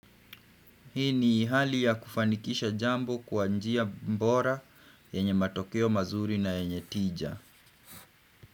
Hii ni hali ya kufanikisha jambo kwa njia bora yenye matokeo mazuri na yenye tija.